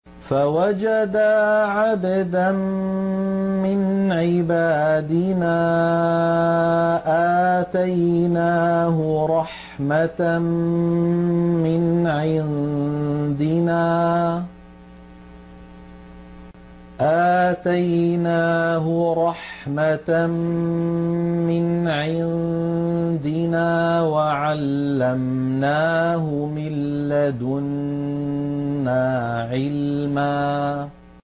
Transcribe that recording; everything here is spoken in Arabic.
فَوَجَدَا عَبْدًا مِّنْ عِبَادِنَا آتَيْنَاهُ رَحْمَةً مِّنْ عِندِنَا وَعَلَّمْنَاهُ مِن لَّدُنَّا عِلْمًا